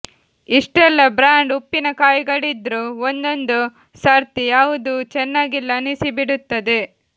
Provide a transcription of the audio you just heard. ಇಷ್ಟೆಲ್ಲಾ ಬ್ರಾಂಡ್ ಉಪ್ಪಿನ ಕಾಯಿಗಳಿದ್ರೂ ಒಂದೊಂದು ಸರ್ತಿ ಯಾವುದೂ ಚೆನ್ನಾಗಿಲ್ಲ ಅನ್ನಿಸಿಬಿಡುತ್ತದೆ